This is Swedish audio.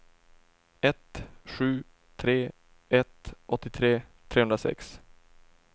ett sju tre ett åttiotre trehundrasex